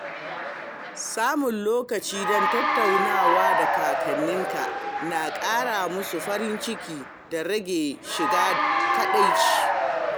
Samun lokaci don tattaunawa da kakanninka na kara musu farin ciki da rage shiga kadaici.